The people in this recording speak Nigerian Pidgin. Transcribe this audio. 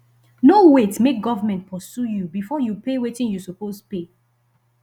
no wait make government pursue you before you pay wetin you suppose pay